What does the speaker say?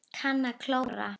Kann að klóra.